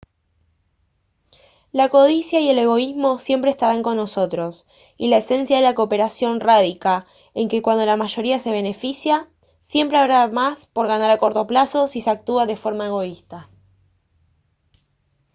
la codicia y el egoísmo siempre estarán con nosotros y la esencia de la cooperación radica en que cuando la mayoría se beneficia siempre habrá más por ganar a corto plazo si se actúa de forma egoísta